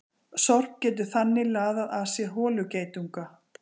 Sorp getur þannig laðað að sér holugeitunga.